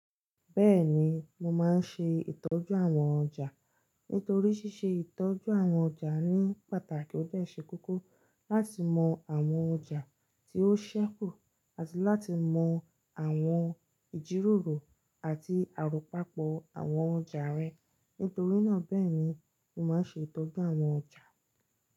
Bẹ́ẹ̀ni, mo máa ń ṣe ìtọ́jú àwọn ọjà. Nítorí ṣíṣe ìtọ́jú àwọn ọjà ní pàtàkì ó dẹ̀ ṣe kókó láti mọ àwọn ọjà tí ó ṣẹ́kù, àti láti mọ àwọn ìjíròrò àti àròpapọ̀ àwọn ọjà rẹ. Nítorí náà bẹ́ẹ̀ ni mo máa ń ṣe ìtọ́jú àwọn ọjà.